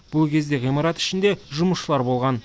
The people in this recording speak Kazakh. бұл кезде ғимарат ішінде жұмысшылар болған